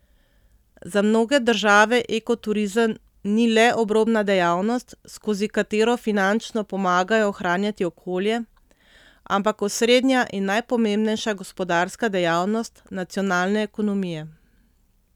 Za mnoge države ekoturizem ni le obrobna dejavnost, skozi katero finančno pomagajo ohranjati okolje, ampak osrednja in najpomembnejša gospodarska dejavnost nacionalne ekonomije.